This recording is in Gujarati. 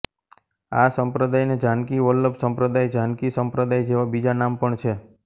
આ સંપ્રદાયને જાનકી વલ્લભ સંપ્રદાય જાનકી સંપ્રદાય જેવાં બીજાં નામ પણ છે